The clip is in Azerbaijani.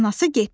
Anası getdi.